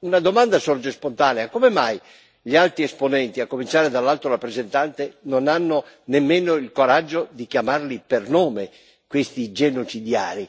una domanda sorge spontanea come mai gli alti esponenti, a cominciare dall'Alto rappresentante, non hanno nemmeno il coraggio di chiamarli per nome questi genocidiari?